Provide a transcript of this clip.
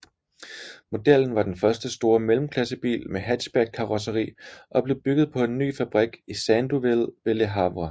Modellen var den første store mellemklassebil med hatchbackkarrosseri og blev bygget på en ny fabrik i Sandouville ved Le Havre